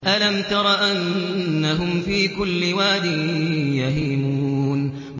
أَلَمْ تَرَ أَنَّهُمْ فِي كُلِّ وَادٍ يَهِيمُونَ